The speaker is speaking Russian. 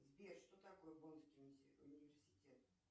сбер что такое боннский университет